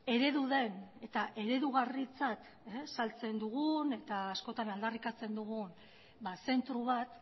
eredu den eta eredugarritzat saltzen dugun eta askotan aldarrikatzen dugun zentro bat